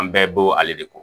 An bɛɛ bo ale de ko